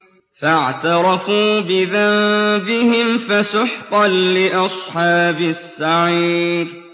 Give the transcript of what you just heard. فَاعْتَرَفُوا بِذَنبِهِمْ فَسُحْقًا لِّأَصْحَابِ السَّعِيرِ